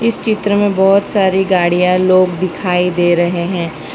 चित्र में बहोत सारी गाड़ियां लोग दिखाई दे रहे हैं।